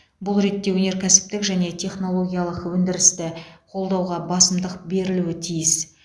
бұл ретте өнеркәсіптік және технологиялық өндірісті қолдауға басымдық берілуі тиіс